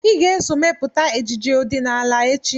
Ị ga-eso mepụta ejije ọdịnala echi!